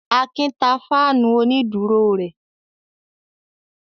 Akin ta fáánù onídùúró rẹ̀.